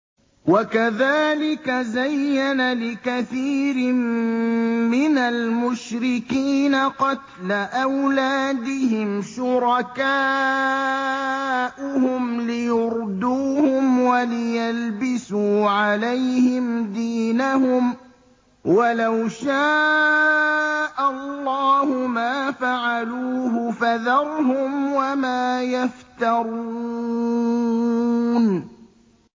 وَكَذَٰلِكَ زَيَّنَ لِكَثِيرٍ مِّنَ الْمُشْرِكِينَ قَتْلَ أَوْلَادِهِمْ شُرَكَاؤُهُمْ لِيُرْدُوهُمْ وَلِيَلْبِسُوا عَلَيْهِمْ دِينَهُمْ ۖ وَلَوْ شَاءَ اللَّهُ مَا فَعَلُوهُ ۖ فَذَرْهُمْ وَمَا يَفْتَرُونَ